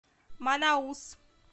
манаус